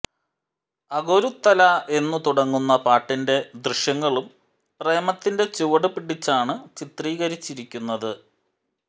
അഗൊരുത്തല എന്നു തുടങ്ങുന്ന പാട്ടിന്റെ ദൃശ്യങ്ങളും പ്രേമത്തിന്റെ ചുവടു പിടിച്ചാണ് ചിത്രീകരിച്ചിരിക്കുന്നത്